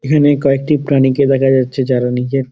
এখানে কয়েকটি প্রাণী কে দেখা যাচ্ছে যারা নিজের --